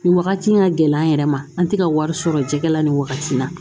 Nin wagati in ka gɛlɛn an yɛrɛ ma an tɛ ka wari sɔrɔ jɛgɛ la nin wagati in na